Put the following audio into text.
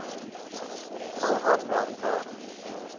wil aanmeld maar